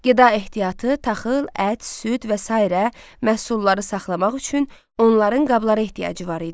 Qida ehtiyatı, taxıl, ət, süd və sairə məhsulları saxlamaq üçün onların qablara ehtiyacı var idi.